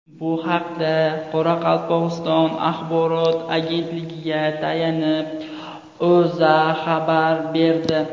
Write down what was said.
Bu haqda, Qoraqalpog‘iston axborot agentligiga tayanib, O‘zA xabar berdi .